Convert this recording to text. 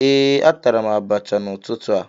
ee, atara m abacha n'ụtụtụ a